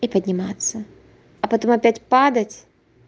и подниматься а потом опять падать